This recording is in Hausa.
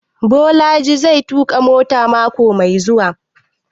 Bolaji zai tuƙa mota mako mai zuwa?